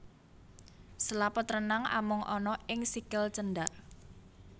Selaput renang amung ana ing sikil cendak